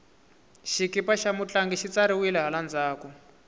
xikipa xa mutlangi xi tsariwile hala ndzhaku